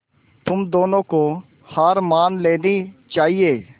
तुम दोनों को हार मान लेनी चाहियें